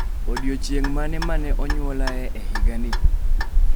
Odiechieng' mane ma ne onyuolae e higani?